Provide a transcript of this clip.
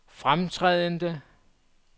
fremtrædende